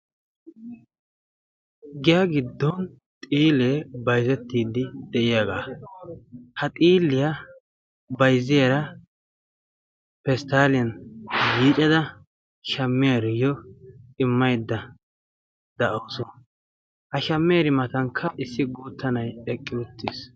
Giyaa giddon xiilee baizettiiddi de'iyaagaa ha xiiliyaa bayzziyara pesttaaliyan yiicada shamiyaariyiyo immaydda da'ausu. ha shamiyaari matankka issi guutta na'ay eqqi uttiis.